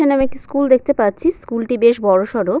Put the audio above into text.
এখানে আমি একটি স্কুল দেখতে পাচ্ছি। স্কুল -টি বেশ বড় সড় ।